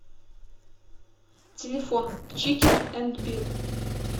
телефон чикен энд бир